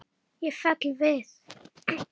Ég fell við.